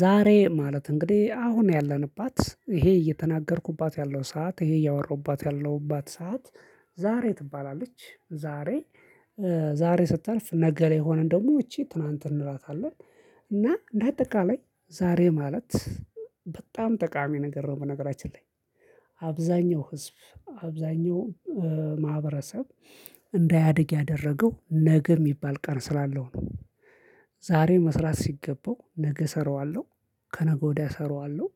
ዛሬ ማለት እንግዲህ አሁን ያለንባት ይሄ እየተናገርኩባት ያለው ሰዓት ይሄ እያወራሁባት ያለሁባት ሰዓት ዛሬ ትባላለች ዛሬ ዛሬ ስታልፍ ነገ ላይ የሆነን ደግሞ ይቺ ትናንት እንላታለን እና እንደአጠቃላይ ዛሬ ማለት በጣም ጠቃሚ ነገር ነው በነገራችን ላይ አብዛኛው ህዝብ አብዛኛው ማህበረሰብ እንዳያድግ ያደረገው ነገ የሚባል ቀን ስላለው ነው ዛሬ መስራት ሲገባው ነገ እሰራዋለሁ ከነገ ወዲያ እሰራዋለሁ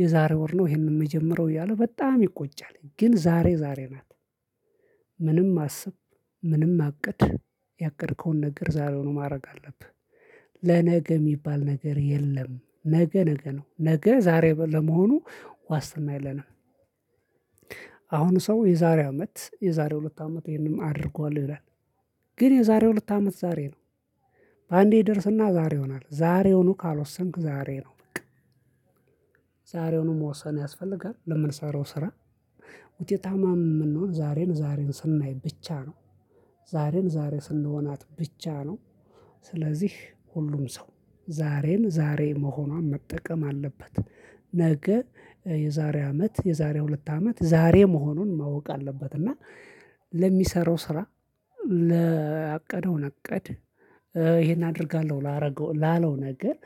የዛሬ ወር ነው ይሄንን የምጀምረው እያለ በጣም ይቆጫል ግን ዛሬ ዛሬ ናት ምንም አስብ ምንም አቅድ ያቀድከውን ነገር ዛሬውኑ ማድረግ አለብህ ለነገ የሚባል ነገር የለም ነገ ነገ ነው ነገ ዛሬ ለመሆኑ ዋስትና የለንም አሁን ሰው የዛሬ አመት የዛሬ ሁለት አመት ይሄንን አድርጓል ብለን ግን የዛሬው ሁለት አመት ዛሬ ነው በአንዴ ይደርስና ዛሬ ይሆናል ዛሬውኑ ካልወሰንክ ዛሬ ነው። በቃ ዛሬውን መወሰን ያስፈልጋል። ለምንሰራው ስራ ውጤታማ የምንሆን ዛሬን ዛሬ ስናይ ብቻ ነው። ዛሬን ዛሬ ስንሆናት ብቻ ነው። ስለዚህ ሁሉም ሰው ዛሬን ዛሬ መሆኗን መጠቀም አለበት። ነገ የዛሬ አመት፣ የዛሬ ሁለት አመት ዛሬ መሆኑን ማወቅ አለበት። እና ለሚሰራው ስራ፣ ለአቀደው እቅድ፣ ይሄን አደርጋለሁ ላረገው ላለው ነገር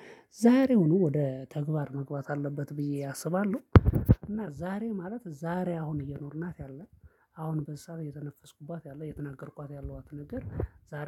ዛሬውኑ ወደ ተግባር መግባት አለበት ብዬ አስባለሁ። እና ዛሬ ማለት ዛሬ አሁን እየኖርናት ያለ አሁን በዚህ ሰዓት እየተነፈስኩባት ያለ የተናገርኳት ያሏት ነገር ዛሬ